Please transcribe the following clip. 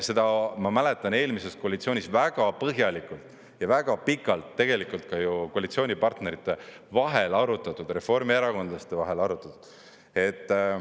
Seda, ma mäletan, eelmises koalitsioonis väga põhjalikult ja väga pikalt tegelikult koalitsioonipartnerite vahel on arutatud, reformierakondlaste vahel on arutatud.